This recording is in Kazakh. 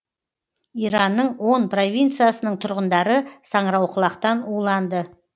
иранның он провинциясының тұрғындары саңырауқұлақтан уланды